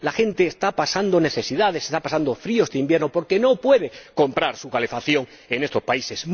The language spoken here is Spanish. La gente está pasando necesidades, está pasando frío este invierno, porque no puede comprar su calefacción en estos países.